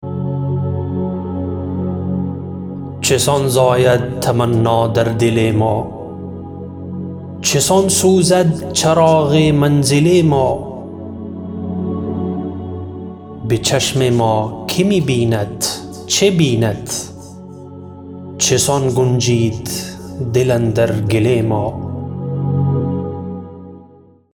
چسان زاید تمنا در دل ما چسان سوزد چراغ منزل ما بچشم ما که می بیند چه بیند چسان گنجید دل اندر گل ما